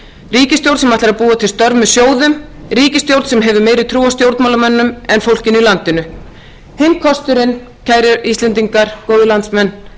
ríkisstjórn sem ætlar að búa til störf með sjóðum ríkisstjórn sem hefur meiri trú á stjórnmálamönnum heldur en fólkinu í landinu hinn kosturinn kæru íslendingar góðir landsmenn